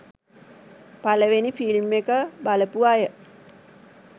පළවෙනි ‍ෆිල්ම් එක බලපු අය